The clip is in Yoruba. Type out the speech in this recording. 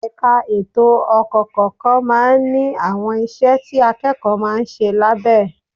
Ẹ̀ka ètò ọkọ̀ kọ̀ọ̀kan máa ń ní àwọn iṣẹ́ tí akẹ́kọ̀ọ́ máa ń ṣe lábẹ́ ẹ